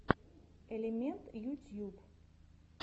элемент ютьюб